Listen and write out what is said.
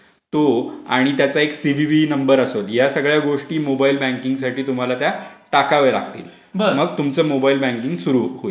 तो आणि त्याचा एक सिव्हीव्ही नंबर असेल या सगळ्या गोष्टी मोबाईल बँकिंगसाठी तुम्हाला त्या टाकावे लागतील.